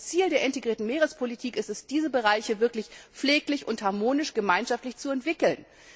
Das Ziel der integrierten Meerespolitik ist es, diese Bereiche wirklich pfleglich und harmonisch gemeinschaftlich zu entwickeln.